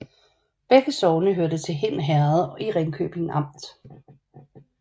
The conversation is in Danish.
Begge sogne hørte til Hind Herred i Ringkøbing Amt